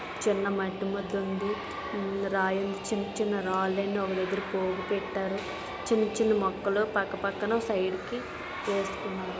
చిన్న మెట్టి ముద్ద ఉంది. రాయి ఉంది చిన్న చిన్న రాళ్లు ఎన్నో పోగు పెట్టారు. చిన్న చిన్న మొక్కలు పక్కపక్కన సైడ్ కి పోతుంది.